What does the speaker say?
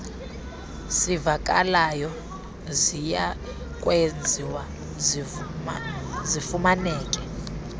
sivakalayo ziyakwenziwa zifumaneke